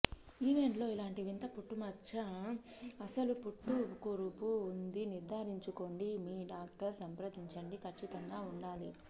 event లో ఇలాంటి వింత పుట్టుమచ్చ అస్సలు పుట్టకురుపు ఉంది నిర్ధారించుకోండి మీ డాక్టర్ సంప్రదించండి ఖచ్చితంగా ఉండాలి